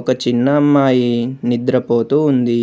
ఒక చిన్న అమ్మాయి నిద్రపోతూ ఉంది.